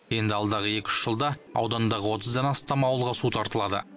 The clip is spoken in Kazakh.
енді алдағы екі үш жылда аудандағы отыздан астам ауылға су тартылады